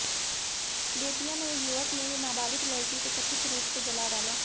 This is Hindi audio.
बेतिया में युवक ने नाबालिग लड़की को कथित रूप से जला डाला